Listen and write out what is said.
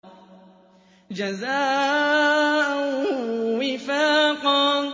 جَزَاءً وِفَاقًا